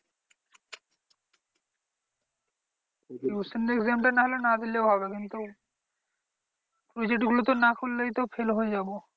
exam টা নাহলে না দিলেও হবে কিন্তু project গুলো তো না করলেই তো fail হয়ে যাবো।